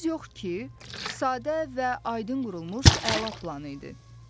Söz yox ki, sadə və aydın qurulmuş əla plan idi.